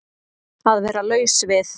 Að vera laus við